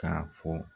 K'a fɔ